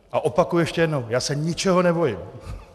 A opakuji ještě jednou - já se ničeho nebojím .